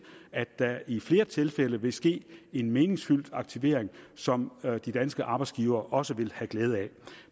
at der i flere tilfælde vil ske en meningsfyldt aktivering som de danske arbejdsgivere også vil have glæde af